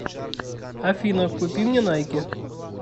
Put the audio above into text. афина купи мне найки